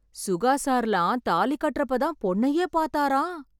சுகா சார்லாம் தாலி கட்றப்ப தான் பொண்ணையே பாத்தாராம்.